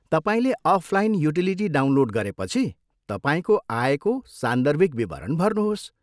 तपाईँले offline utility download गरेपछि, तपाईँको आयको सान्दर्भिक विवरण भर्नुहोस्।